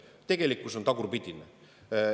Tegelikkus on tagurpidine.